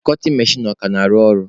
Kọtin mechin ọ ka na-arụ ọrụ?